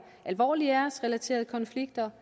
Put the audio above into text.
alvorlige æresrelaterede konflikter